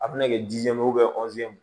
A bɛna kɛ jiyɛn ye